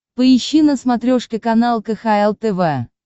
поищи на смотрешке канал кхл тв